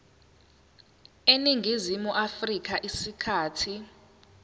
eningizimu afrika isikhathi